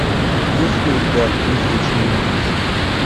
есть ли у тебя призрачный меч